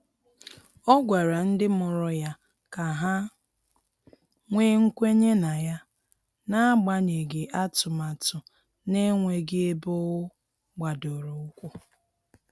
Ọ gwara ndị mụrụ ya ka ha nwee kwenye na ya, n'agbanyeghị atụmatụ na-enweghị ebe ọ gbadoro ụkwụ.